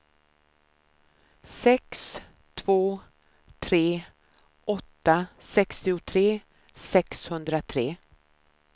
sex två tre åtta sextiotre sexhundratre